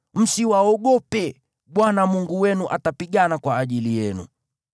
Msiwaogope, Bwana Mungu wenu atapigana kwa ajili yenu.”